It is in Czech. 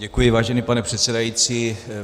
Děkuji, vážený pane předsedající.